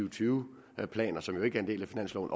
og tyve planer som jo ikke er en del af finansloven